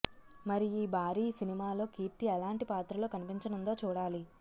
మరి ఈ భారీ సినిమాలో కీర్తి ఎలాంటి పాత్రలో కనిపించనుందో చూడాలి